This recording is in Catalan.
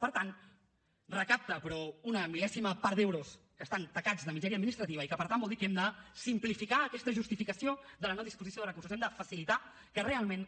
per tant recapta però una mil·lèsima part d’euros que estan tacats de misèria administrativa i per tant vol dir que hem de simplificar aquesta justificació de la no disposició de recursos hem de facilitar que realment